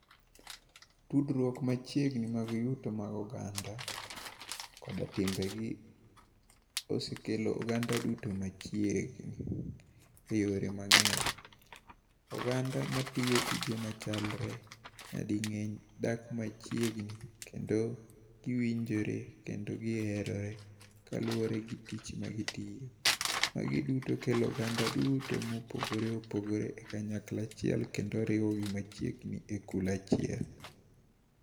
Tudruok machiegni mag yuto mag oganda kod timbegi, osekelo oganda duto machiegni e yore mangény. Oganda matiyo tije machalre, nyadingény, dak machiegni, kendo giwinjore, kendo giherore ka luwore gi tich ma gitiyo. Magi duto kelo oganda duto ma opogore opogore e kanyakla achiel kendo riwogi machiegni e kul achiel.